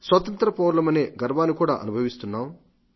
స్వతంత్ర పౌరులమనే గర్వాన్ని కూడా అనుభవిస్తున్నాం